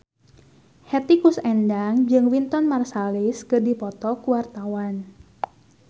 Hetty Koes Endang jeung Wynton Marsalis keur dipoto ku wartawan